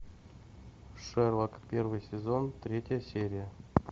шерлок первый сезон третья серия